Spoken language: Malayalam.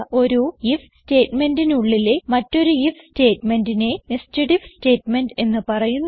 ഒരു ഐഎഫ് സ്റ്റേറ്റ്മെന്റിനുള്ളിലെ മറ്റൊരു ഐഎഫ് സ്റ്റേറ്റ്മെന്റിനെ nested ഐഎഫ് സ്റ്റേറ്റ്മെന്റ് എന്ന് പറയുന്നു